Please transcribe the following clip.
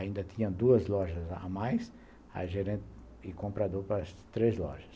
Ainda tinha duas lojas a mais, e comprador para as três lojas.